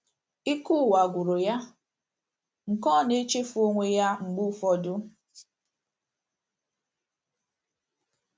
Ike ụwa gwụrụ ya nke na ọ na - echefu onwe ya mgbe ụfọdụ.